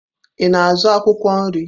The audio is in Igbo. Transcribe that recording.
Ị na-azụ akwụkwọ nri?